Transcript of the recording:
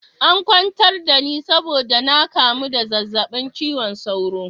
An kwantar da ni saboda na kamu da zazzabin cizon sauro.